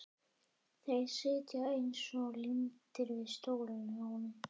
Þeir sitja líka eins og límdir við stólana hjá honum!